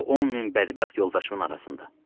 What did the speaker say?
O 10 min bədbəxt yoldaşımın arasında.